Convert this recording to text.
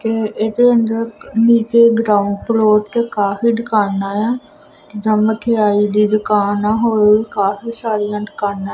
ਤੇ ਇਦੇ ਅੰਦਰ ਨੀਚੇ ਗਰਾਊਂਡ ਫਲੋਰ ਤੇ ਕਾਫੀ ਦੁਕਾਨਾਂ ਆ ਜਾਂ ਮਿਠਿਆਈ ਦੀ ਦੁਕਾਨ ਆ ਹੋਰ ਵੀ ਕਾਫੀ ਸਾਰੀਆਂ ਦੁਕਾਨਾਂ --